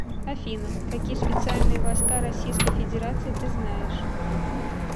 афина какие специальные войска российской федерации ты знаешь